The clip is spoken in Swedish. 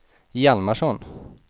Hjalmarsson